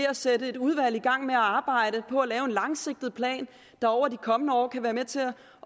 at sætte et udvalg i gang med at arbejde på at lave en langsigtet plan der over de kommende år kan være med til